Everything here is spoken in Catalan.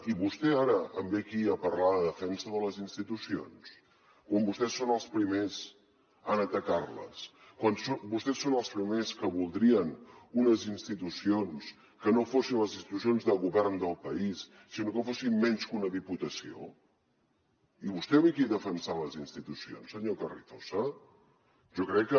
i vostè ara em ve aquí a parlar de defensa de les institucions quan vostès són els primers en atacarles quan vostès són els primers que voldrien unes institucions que no fossin les institucions de govern del país sinó que fossin menys que una diputació i vostè ve aquí a defensar les institucions senyor carrizosa jo crec que